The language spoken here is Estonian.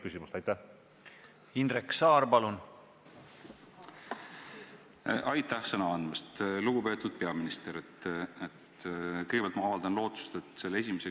Nende ainuke ideoloogia on see, kas ettevõtmine on majanduslikult tasuv või mitte, kas nad saavad oma laenuraha tagasi või mitte.